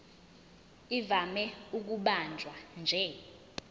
ivame ukubanjwa nje